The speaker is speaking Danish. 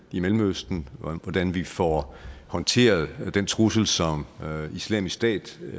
i mellemøsten og hvordan vi får håndteret den trussel som islamisk stat